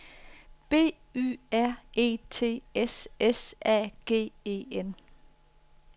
B Y R E T S S A G E N